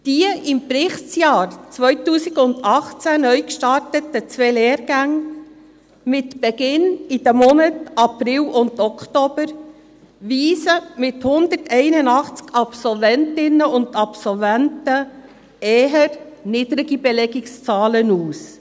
Die im Berichtsjahr 2018 neu gestarteten zwei Lehrgänge, mit Beginn in den Monaten April und Oktober, weisen mit 181 Absolventinnen und Absolventen eher niedrige Belegungszahlen aus.